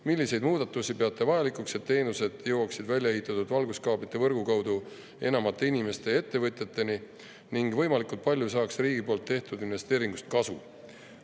Milliseid muudatusi peate vajalikuks, et teenused jõuaks välja ehitatud valguskaablite võrgu kaudu enamate inimeste ja ettevõtjateni ning võimalikult paljud saaksid riigi tehtud investeeringust kasu?